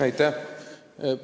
Aitäh!